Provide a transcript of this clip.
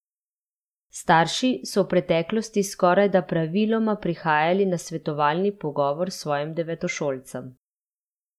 Starši so v preteklosti skorajda praviloma prihajali na svetovalni pogovor s svojim devetošolcem.